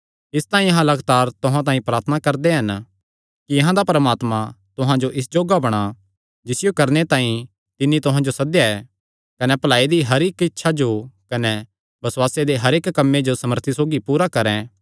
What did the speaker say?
इसतांई अहां लगातार तुहां तांई प्रार्थना भी करदे हन कि अहां दा परमात्मा तुहां जो इस जोग्गा बणा जिसियो करणे तांई तिन्नी तुहां जो सद्देया ऐ कने भलाई दी हर इक्क इच्छा कने बसुआसे दे हर इक्की कम्मे जो सामर्थी सौगी पूरा करैं